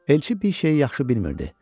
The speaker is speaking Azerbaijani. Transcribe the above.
Elçi bir şeyi yaxşı bilmirdi.